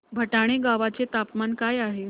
भटाणे गावाचे तापमान काय आहे